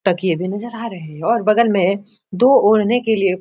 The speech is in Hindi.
तकिए भी नजर आ रहे हैं और बगल में दो ओढ़ने के लिए --